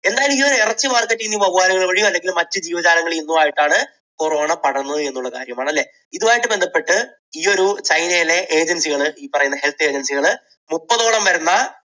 എന്തായാലും ഈ ഒരു ഇറച്ചി market ൽ നിന്ന് ഈ വവ്വാലുകൾ വഴിയോ മറ്റ് ജീവജാലങ്ങളിൽ നിന്നും ആയിട്ടാണ് corona പടർന്നത് എന്നുള്ള കാര്യം ആണ്. അല്ലേ? ഇതുമായിട്ട് ബന്ധപ്പെട്ട് ഈയൊരു ചൈനയിലെ agency കൾ ഈ പറയുന്ന health agency കൾ മുപ്പതോളം വരുന്ന